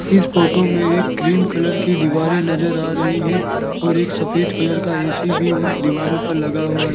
इस फोटो में एक क्रीम कलर की दीवारें नजर आ रही हैं और एक सफेद कलर का ऐ_सी भी उन दीवारों पर लगा हुआ है।